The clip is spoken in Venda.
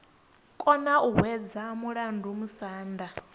kona u hwedza mulandu musanda